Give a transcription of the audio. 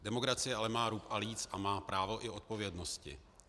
Demokracie ale má rub a líc a má právo i odpovědnosti.